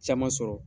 Caman sɔrɔ